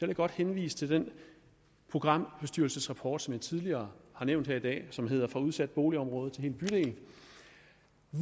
jeg godt henvise til den programbestyrelsesrapport som jeg tidligere har nævnt her i dag som hedder fra udsat boligområde til hel bydel